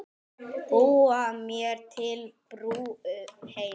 Búa mér til brú heim.